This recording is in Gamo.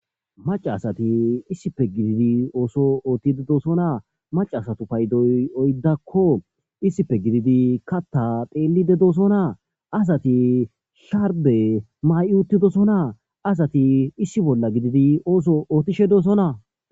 Macasati issippe gidid ooso oothishe dosona ,acasatu paydoy oydako issipe gidid kaya pelide dosona, asati sharbe mayi utidosona, asati issi bolla gidid ooso oothishe dosona.